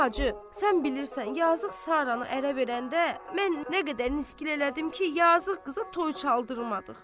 Hacı, sən bilirsən, yazıq Saranı ərə verəndə mən nə qədər niskil elədim ki, yazıq qıza toy çaldırmadıq.